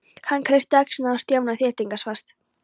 Hann kreisti axlirnar á Stjána þéttingsfast.